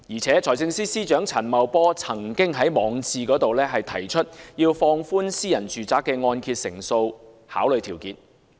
財政司司長陳茂波曾經在網誌提出，要放寬私人住宅的按揭成數考慮條件。